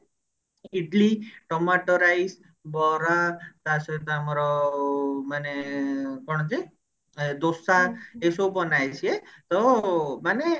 idli tomato rice ବରା ତା ସହିତ ଆମର ମାନେ କଣ ଯେ ଏ ଦୋସା ଏଇସବୁ ବନାଏ ସିଏ ତ ମାନେ